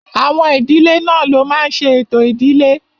Àwọn ìdílé náà ló máa n ṣe ètò ìdílé